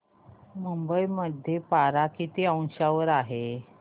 मुंबई मध्ये पारा किती अंशावर आहे